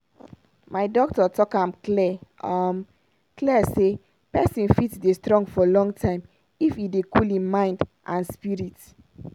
my doctor talk am clear um clear say pesin fit dey strong for long time if e dey cool hin mind and spirit.